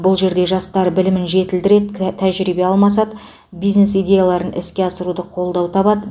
бұл жерде жастар білімін жетілдіреді тәжірибе алмасады бизнес идеяларын іске асыруда қолдау табады